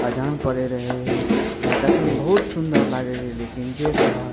अजान पढ़े रहे बा देखे में बहुत सुन्दर लागे रहे लेकिन जे कहा --